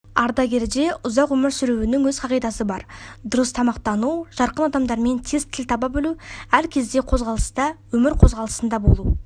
ардагерде ұзақ өмір сүруінің өз қағидасы бар дұрыс тағамтану жарқын адамдармен тез тіл таба білу әр кезде қозғалыста өмір қозғалысында болу